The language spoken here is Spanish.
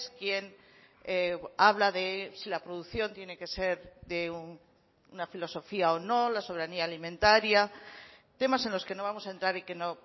quien habla de si la producción tiene que ser de una filosofía o no la soberanía alimentaria temas en los que no vamos a entrar y que no